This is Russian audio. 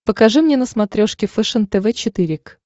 покажи мне на смотрешке фэшен тв четыре к